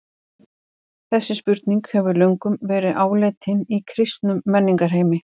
Þessi spurning hefur löngum verið áleitin í kristnum menningarheimi.